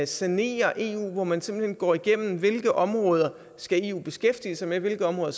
sanere eu at man simpelt hen går igennem hvilke områder eu skal beskæftige sig med og hvilke områder